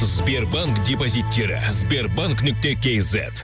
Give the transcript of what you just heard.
сбербанк депозиттері сбербанк нүкте кейзет